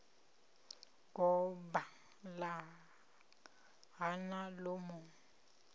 goba ḽa hana ḽo mu